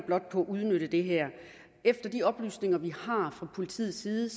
på at udnytte det her efter de oplysninger vi har fra politiets side